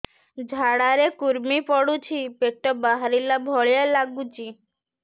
ଝାଡା ରେ କୁର୍ମି ପଡୁଛି ପେଟ ବାହାରିଲା ଭଳିଆ ଲାଗୁଚି